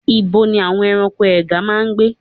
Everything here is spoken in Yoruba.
Ìbo ní àwọn ẹranko ègàn máa ń gbé?